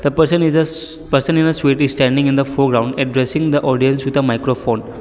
person is a shh person in a suit is standing in the foreground addressing the audience with a microphone.